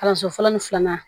Kalanso fɔlɔ ni filanan